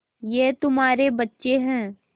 ये तुम्हारे बच्चे हैं